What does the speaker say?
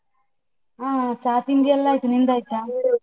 ಹಾ ಚಾ ತಿಂಡಿ ಎಲ್ಲ ಆಯ್ತು, ನಿಂದಾಯ್ತಾ?